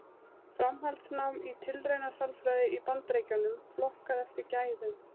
Framhaldsnám í tilraunasálfræði í Bandaríkjunum, flokkað eftir gæðum.